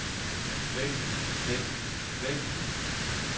væk væk væk